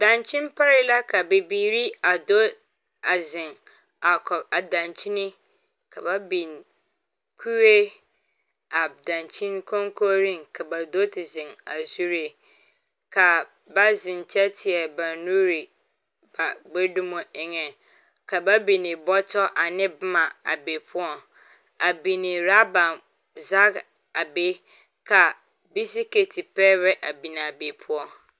Dankyin parɛɛ la ka bibiiri a do a zeŋ a koge a dankyini, ka ba biŋ kuree a dankyin koŋkooreŋ ka ba do te zeŋ a zuree. Ka ba zeŋ kyɛ teɛ ba nuree ba gbɛdume eŋɛ. Ka ba bini bɔtɔ ane boma a be poɔŋ. A bini raba zage a be ka bisiketi pɛbɛ a binaa be poɔ.